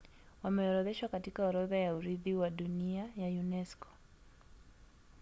wameorodheshwa katika orodha ya urithi wa dunia ya unesco